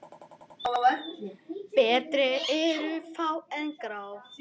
Betri eru fá en grá?